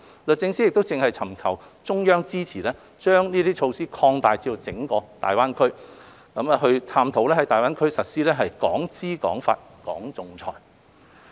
律政司正尋求中央支持把這些措施擴大至整個大灣區，並探討在大灣區實施"港資港法、港仲裁"。